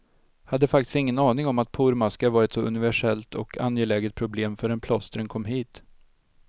Hade faktiskt ingen aning om att pormaskar var ett så universellt och angeläget problem förrän plåstren kom hit.